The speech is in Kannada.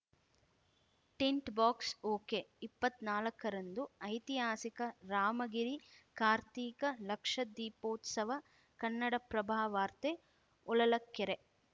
ಟಿಂಟ್‌ ಬಾಕ್ಸ್ ಓಕೆಇಪ್ಪತ್ ನಾಲಕ್ಕರಂದು ಐತಿಹಾಸಿಕ ರಾಮಗಿರಿ ಕಾರ್ತೀಕ ಲಕ್ಷದೀಪೋತ್ಸವ ಕನ್ನಡಪ್ರಭವಾರ್ತೆ ಹೊಳಲಕೆರೆ